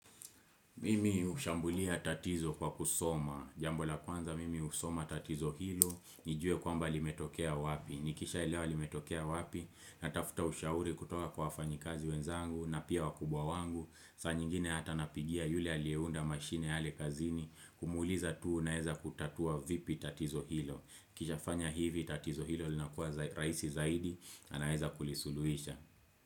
Mimi hushambulia tatizo kwa kusoma, jambo la kwanza mimi husoma tatizo hilo, nijue kwamba limetokea wapi, nikishaelewa limetokea wapi, natafuta ushauri kutoka kwa wafanyikazi wenzangu na pia wakubwa wangu, saa nyingine hata napigia yule aliyeunda mashine yale kazini, kumuuliza tu naeza kutatua vipi tatizo hilo, kishafanya hivi tatizo hilo linakuwa raisi zaidi na naeza kulisuluhisha.